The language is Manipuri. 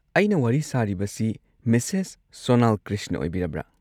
ꯑꯩꯅ ꯋꯥꯔꯤ ꯁꯥꯔꯤꯕꯁꯤ ꯃꯤꯁꯦꯁ ꯁꯣꯅꯜ ꯀ꯭ꯔꯤꯁꯅ ꯑꯣꯏꯕꯤꯔꯕ꯭ꯔꯥ?